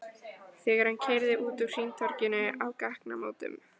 Þegar hann keyrði út úr hringtorginu á gatnamótum